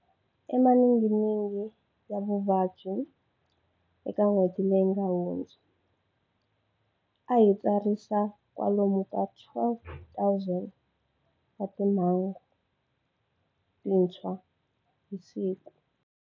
Emaninginingini ya vuvabyi eka n'hweti leyi nga hundza, a hi tsarisa kwalomu ka 12,000 wa timhangu tintshwa hi siku.